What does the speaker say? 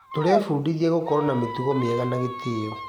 Tũrebundithia gũkorwo na mĩtugo mĩeha na gĩtĩo.